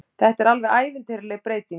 Þetta er alveg ævintýraleg breyting